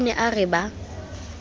o ne a re ba